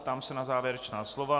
Ptám se na závěrečná slova.